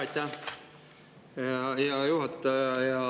Aitäh, hea juhataja!